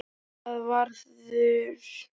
Og það varð úr.